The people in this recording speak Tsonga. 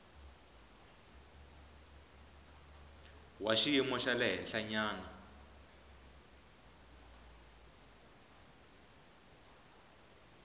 wa xiyimo xa le henhlanyana